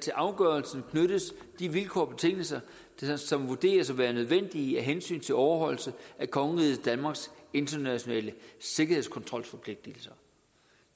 til afgørelsen knyttes de vilkår og betingelser som vurderes at være nødvendige af hensyn til overholdelse af kongeriget danmarks internationale sikkerhedskontrolforpligtelser